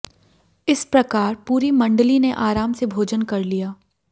इस प्रकार पूरी मंडली ने आराम से भोजन कर लिया